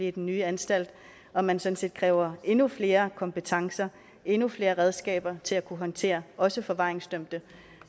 i den nye anstalt og man sådan set kræver endnu flere kompetencer endnu flere redskaber til at kunne håndtere også forvaringsdømte